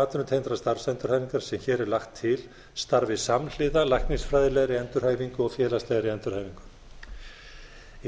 atvinnutengdrar starfsendurhæfingar sem hér er lagt til starfi samhliða læknisfræðilegri endurhæfingu og félagslegri endurhæfingu